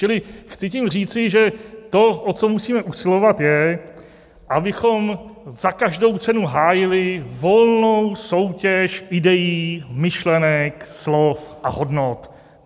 Čili tím chci říci, že to, o co musíme usilovat, je, abychom za každou cenu hájili volnou soutěž idejí, myšlenek, slov a hodnot.